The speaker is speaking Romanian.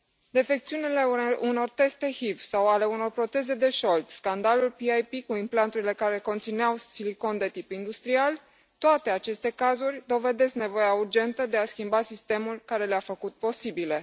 Defecțiunile unor teste HIV sau ale unor proteze de șold, scandalul PIP cu implanturile care conțineau silicon de tip industrial, toate aceste cazuri dovedesc nevoia urgentă de a schimba sistemul care le a făcut posibile.